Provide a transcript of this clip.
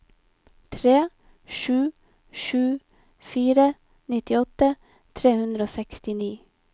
tre sju sju fire nittiåtte tre hundre og sekstini